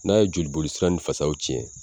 N'a ye jolibolisira ni fasaw cɛn